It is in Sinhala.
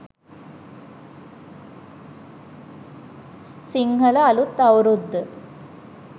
sinhala aluth aurudda